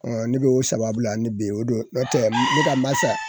ne bɛ o sababula ni be ye o do n'o tɛ ne ka masa